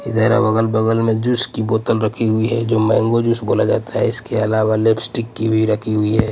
इधर अब अगल-बगल में जूस की बोतल रखी हुई है जो मैंगो जूस बोला जाता है इसके अलावा लिपस्टिक की भी रखी हुई है.